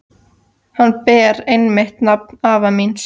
Hann ber einmitt nafn afa míns.